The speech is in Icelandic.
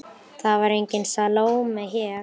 Það var engin Salóme hér.